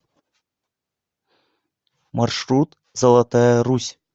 маршрут золотая русь